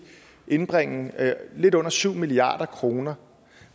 indbringe lidt under syv milliard kroner